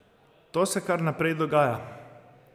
To se kar naprej dogaja.